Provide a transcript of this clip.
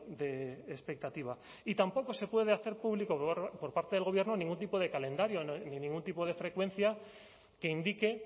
de expectativa y tampoco se puede hacer público por parte del gobierno ningún tipo de calendario ni ningún tipo de frecuencia que indique